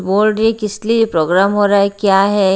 बोल रहीं किस लिए प्रोग्राम हो रहा हैं क्या हैं?